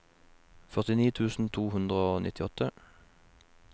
førtini tusen to hundre og nittiåtte